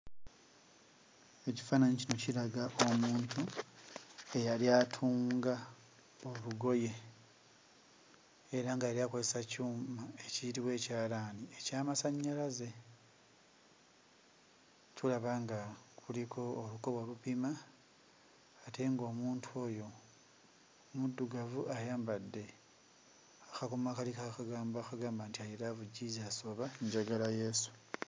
Ekifaananyi kino kiraga omuntu eyali atunga olugoye era nga yali akozesa kyuma ekiyitibwa ekyalaani eky'amasannyalaze. Tulaba nga kuliko olukoba olupima ate ng'omuntu oyo muddugavu, ayambadde akakomo akaliko akagambo akagamba nti, "I love Jesus" oba njagala Yesu.